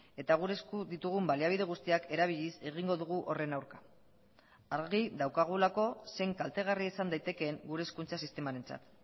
eta gure esku ditugun baliabide guztiak erabiliz egingo dugu horren aurka argi daukagulako zein kaltegarria izan daitekeen gure hezkuntza sistemarentzat